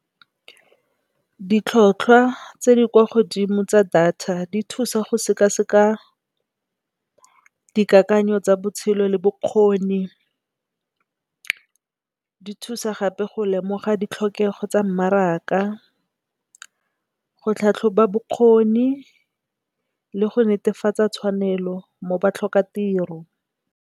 Ditlhwatlhwa tse di kwa godimo tsa data di thusa go sekaseka dikakanyo tsa botshelo le bokgoni, di thusa gape go lemoga ditlhokego tsa mmaraka, go tlhatlhoba bokgoni le go netefatsa tshwanelo mo batlhokatiro.